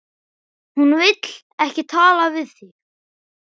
Hún vill ekki tala við þig!